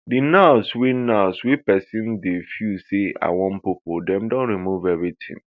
di nerves wey nerves wey pesin dey feel say i wan poopoo dem don remove everitin